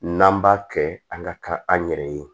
N'an b'a kɛ an ka taa an yɛrɛ ye